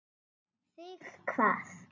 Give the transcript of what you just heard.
Þig hvað?